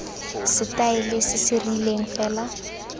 setaele se se rileng fela